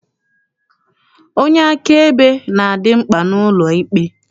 Onye akaebe na-adị mkpa n'ụlọikpe.